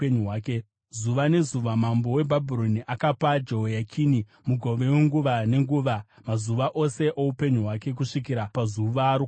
Zuva nezuva mambo weBhabhironi akapa Jehoyakini mugove wenguva nenguva, mazuva ose oupenyu hwake, kusvikira pazuva rokufa kwake.